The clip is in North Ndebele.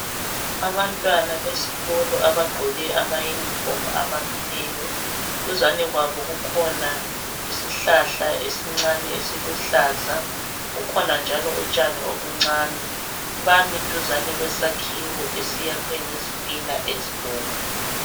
Abantwana besikolo abagqoke amayunifomu abamileyo. Duzane kwabo kukhona isihlahla esincane esiluhlaza, kukhona njalo utshane ukuncane. Bami duzane kwesakhiwo esiyakhe ngezithina ezibomvu.